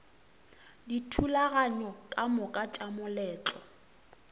dithulaganyo ka moka tša moletlo